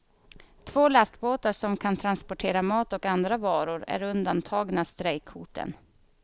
Två lastbåtar som kan transportera mat och andra varor är undantagna strejkhoten.